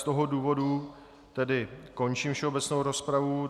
Z toho důvodu tedy končím všeobecnou rozpravu.